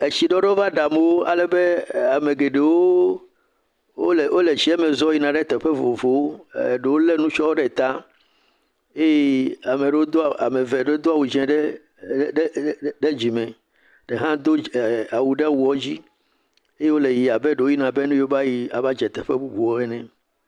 Etsi ɖoɖo va ɖe amewo geɖewo alebe wole tsia me zɔm yina ɖe teƒe vovovowo, eɖewo le nutsɔ ɖe eye ame ɖewo, eye ame eve ɖewo do awu dzɛ ɖe ɖe ɖe dzime eɖe ɖe ɖe hã do awu ɖe awu dzi abe ɖewo yina be ne yewo va dze teƒe bubu ene.